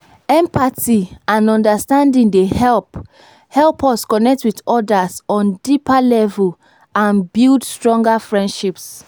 empathy and understanding dey help help us connect with odas on deeper level and build stronger friendships.